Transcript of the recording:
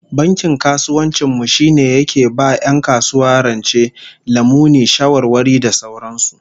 Bankin kasuwancin mu shine yake ba 'yan kasuwa rance, lamuni, shawarwari da sauran su